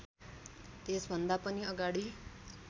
त्यसभन्दा पनि अगाडि